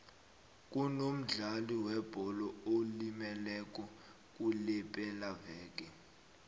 kunomdlali webholo olimeleko kulepelaveke